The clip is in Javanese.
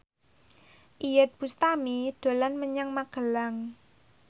Iyeth Bustami dolan menyang Magelang